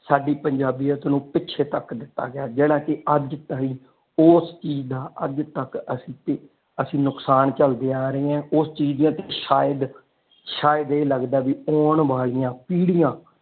ਸਾਡੀ ਪੰਜਾਬੀਅਤ ਨੂੰ ਪਿੱਛੇ ਤੱਕ ਦਿੱਤਾ ਗਿਆ ਜਿਹੜਾ ਕਿ ਅੱਜ ਤੱਕ ਉਸ ਚੀਜ਼ ਦਾ ਅੱਜ ਤਕ ਅਸੀਂ ਅਸੀਂ ਨੁਕਸਾਨ ਚੱਲਦੇ ਆ ਰਹੇ ਆ ਉਸ ਚੀਜ਼ ਦੇ ਸ਼ਾਇਦ ਸ਼ਾਇਦ ਇਹ ਲੱਗਦਾ ਕਿ ਆਉਣ ਵਾਲਿਆਂ ਪੀੜੀਆਂ।